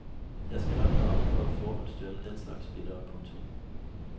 Jeg skal nok vare mig for at forhåndsdømme den slags spillere. punktum